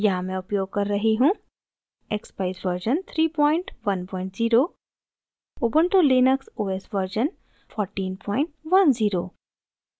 यहाँ मैं उपयोग कर रही हूँ: